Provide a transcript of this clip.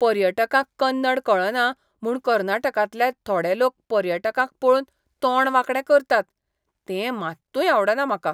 पर्यटकांक कन्नड कळना म्हूण कर्नाटकांतले थोडे लोक पर्यटकांक पळोवन तोंड वांकडे करतात तें मात्तूय आवडना म्हाका.